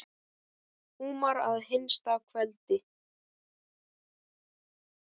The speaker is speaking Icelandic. Húmar að hinsta kveldi.